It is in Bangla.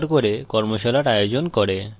কথ্য tutorials ব্যবহার করে কর্মশালার আয়োজন করে